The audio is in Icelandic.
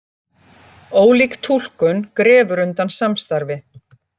Ólík túlkun grefur undan samstarfi